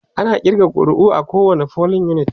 ana ƙirga ƙuri'a a kowani polling unit